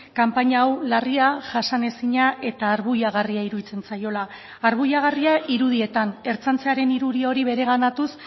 kanpaina hau larria jasanezina eta arbuiagarria iruditzen zaiola arbuiagarria irudietan ertzaintzaren irudi hori bereganatuz